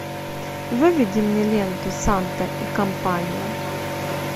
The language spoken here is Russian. выведи мне ленту санта и компания